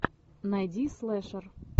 найди слэшер